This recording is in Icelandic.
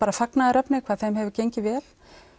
fagnaðarefni hvað þeim hefur gengið vel